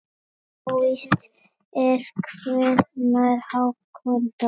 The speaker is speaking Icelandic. Óvíst er hvenær Hákon dó.